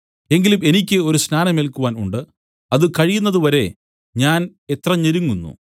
എങ്കിലും എനിക്ക് ഒരു സ്നാനം ഏൽക്കുവാൻ ഉണ്ട് അത് കഴിയുന്നത് വരെ ഞാൻ എത്ര ഞെരുങ്ങുന്നു